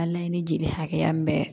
A laɲini jeli hakɛya min bɛ